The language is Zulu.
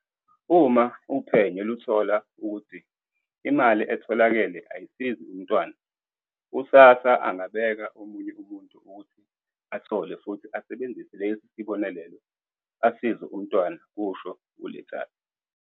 Uma uphenyo luthola ukuthi imali etholakele ayisizi umntwana, u-SASSA angabeka omunye umuntu ukuthi athole futhi asebenzise lesi sibonelelo asize umntwana," kusho u-Letsatsi.